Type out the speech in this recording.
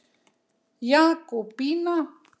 Jakobína